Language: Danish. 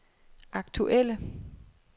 aktuelle